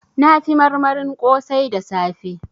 Na fi marmarin kosai da safe